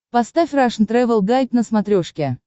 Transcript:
поставь рашн тревел гайд на смотрешке